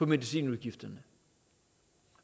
medicinudgifterne